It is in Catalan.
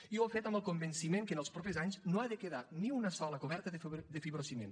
i ho ha fet amb el convenciment que en els propers anys no ha de quedar ni una sola coberta de fibrociment